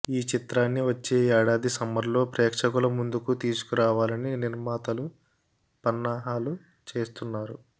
ఈ చిత్రాన్ని వచ్చే ఏడాది సమ్మర్లో ప్రేక్షకుల ముందుకు తీసుకురావాలని నిర్మాతలు పన్నాహాలు చేస్తున్నారు